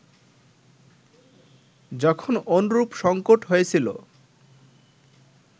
যখন অনুরূপ সঙ্কট হয়েছিল